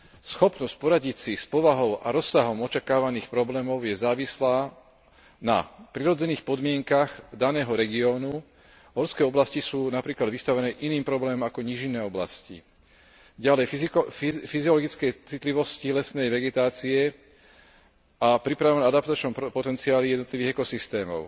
Schopnosť poradiť si s povahou a rozsahom očakávaných problémov je závislá na prirodzených podmienkach daného regiónu horské oblasti sú napríklad vystavené iným problémom ako nížinné oblasti ďalej na fyziologickej citlivosti lesnej vegetácie a na pripravenom adaptačnom potenciáli jednotlivých ekosystémov,